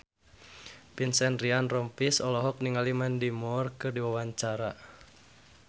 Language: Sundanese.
Vincent Ryan Rompies olohok ningali Mandy Moore keur diwawancara